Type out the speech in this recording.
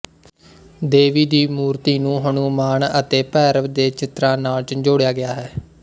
ਦੇਵੀ ਦੀ ਮੂਰਤੀ ਨੂੰ ਹਨੂਮਾਨ ਅਤੇ ਭੈਰਵ ਦੇ ਚਿੱਤਰਾਂ ਨਾਲ ਝੰਜੋੜਿਆ ਗਿਆ ਹੈ